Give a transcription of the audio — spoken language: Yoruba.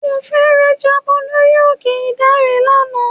Mo fẹ́ẹ̀rẹ̀ jábọ̀ lórí òkè ìdànrè lánàá.